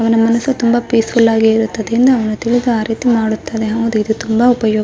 ಅವನ ಮನುಸು ತುಂಬಾ ಪೀಸ್ಫ್ಯೂಲ್ ಆಗಿ ಇರುತ್ತದೆಂದು ತಿಳಿದು ಆ ರೀತಿ ಮಾಡುತ್ತನೆ ಹೌದು ಇದು ಉಪಯೋ --